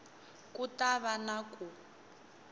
ku ta va na ku